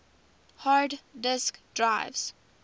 hard disk drives